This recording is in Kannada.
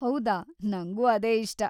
ಹೌದಾ? ನಂಗೂ ಅದೇ ಇಷ್ಟ.